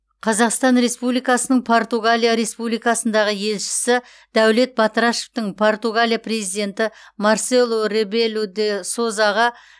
қазақстан республикасының португалия республикасындағы елшісі дәулет батырашевтың португалия президенті марселу ребелу де созаға